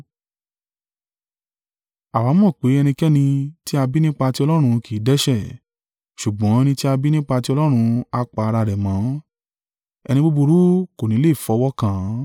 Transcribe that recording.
Àwa mọ̀ pé ẹnikẹ́ni tí a bí nípa ti Ọlọ́run kì í dẹ́ṣẹ̀: ṣùgbọ́n ẹni tí a bí nípa tí Ọlọ́run a pa ara rẹ̀ mọ́, ẹni búburú kò ní lè fọwọ́ kàn án.